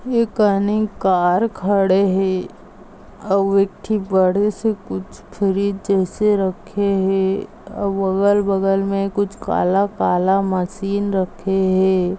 एक काने कार खड़े है और इकथी बड़ी सी कुछ फ्रिज जैसी रखे है अगल -बगल मे कुछ काला-काला मशीन रखे है।